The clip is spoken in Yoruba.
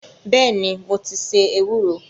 Bẹ́ẹ̀ni, mo ti se ewúro